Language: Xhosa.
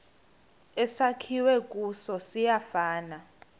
esakhiwe kuso siyafana